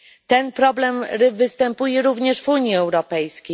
Ten problem występuje również w Unii Europejskiej.